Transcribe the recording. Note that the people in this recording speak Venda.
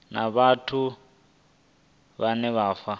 na vhathu na u fha